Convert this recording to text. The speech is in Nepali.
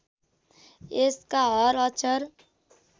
यसका हर अक्षर